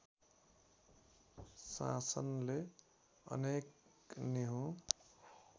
शासनले अनेक निहुँ